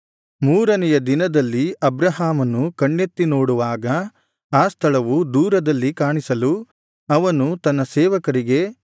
ಮೂರನೆಯ ದಿನದಲ್ಲಿ ಅಬ್ರಹಾಮನು ಕಣ್ಣೆತ್ತಿ ನೋಡುವಾಗ ಆ ಸ್ಥಳವು ದೂರದಲ್ಲಿ ಕಾಣಿಸಲು ಅವನು ತನ್ನ ಸೇವಕರಿಗೆ